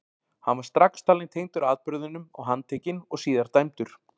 Hann var strax talinn tengdur atburðinum og handtekinn og síðar dæmdur.